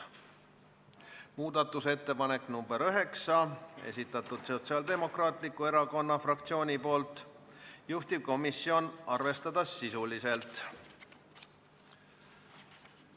Muudatusettepaneku nr 9 on esitanud Sotsiaaldemokraatliku Erakonna fraktsioon, juhtivkomisjoni otsus on arvestada sisuliselt.